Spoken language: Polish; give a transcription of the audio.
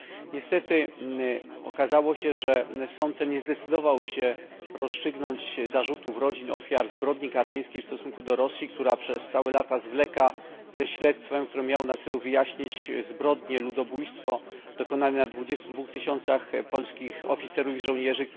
Niestety okazało się, że sąd ten nie zdecydował się rozstrzygnąć zarzutów rodzin ofiar zbrodni katyńskiej w stosunku do Rosji, przez całe lata zwlekającej ze śledztwem, które miało na celu wyjaśnić zbrodnię, ludobójstwo dokonane na 22 tysiącach polskich oficerów i żołnierzy.